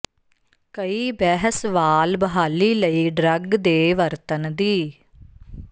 ਕਈ ਬਹਿਸ ਵਾਲ ਬਹਾਲੀ ਲਈ ਡਰੱਗ ਦੇ ਵਰਤਣ ਦੀ